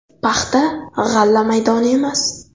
Paxta-g‘alla maydoni emas.